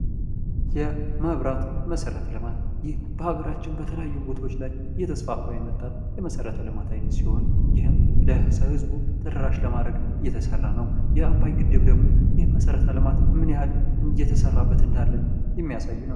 የ መብራት መሠረተ ልማት ይህ በሀገራችን በተለያዩ ቦታዎች ላይ እየተስፋፋ የመጣ የመሠረተ ልማት አይነት ሲሆን፤ ይህም ለህዝቡ ተደራሽ ለማድረግ እየተሠራ ነው። የአባይ ግድብ ደግሞ ይህን መሠረተ ልማት ምን ያህል እየተሰራበት እንዳለ የሚያሳይ ነው።